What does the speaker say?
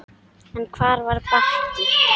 En hvar var Bakki?